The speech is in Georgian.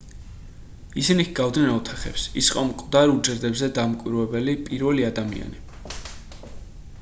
ისინი ჰგავდნენ ოთახებს ის იყო მკვდარ უჯრედებზე დამკვირვებელი პირველი ადამიანი